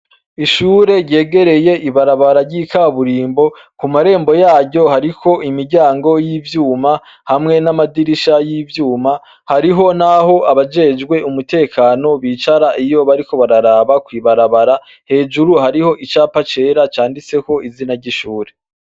Ishure ryegereye ibarabara ry' ikaburimbo ku marembo yaryo hariko imiryango y' ivyuma hamwe n' amadirisha y' ivyuma hariyo naho abajejwe umutekano bicara iyo bariko bararaba kwibarabara hejuru hariho icapa cera canditseko izina ry' ishure.